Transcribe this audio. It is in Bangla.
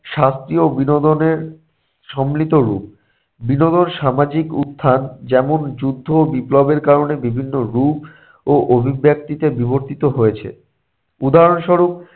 শাস্তি ও বিনোদনের সম্মিলিত রূপ। বিনোদন সামাজিক উত্থান যেমন যুদ্ধ বিপ্লবের কারণে বিভিন্ন রূপ ও অভিব্যক্তিতে বিবর্তিত হয়েছে। উদাহরণস্বরূপ -